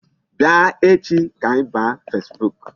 Bịa echi ka anyị baa Facebook.